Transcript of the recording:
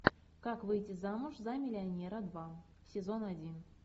как выйти замуж за миллионера два сезон один